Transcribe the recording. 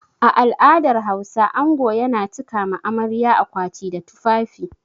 A al'adar Hausa ango yana cika ma amarya akwati da tufafi.